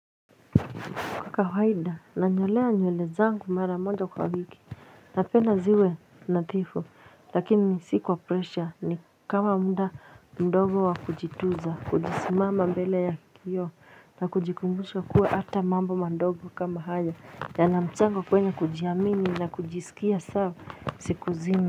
Kwa kawaida nanyolewa nywele zangu mara moja kwa wiki napenda ziwe nadhifu lakini si kwa presha ni kama muda mdogo wa kujitunza kujisimama mbele ya kioo na kujikumbusha kuwe hata mambo mdogo kama haya yanamchango kwenye kujiamini na kujisikia sawa siku zima.